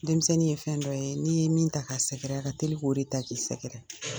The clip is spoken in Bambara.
Denmisɛnnin ye fɛn dɔ ye n'i ye min ta k'a sɛgɛrɛ, a ka teli k'o de ta k'i sɛgɛrɛ.